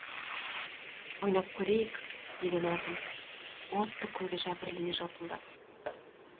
ойнап көрейік деді назым отты көзі жәбірлене жалпылдап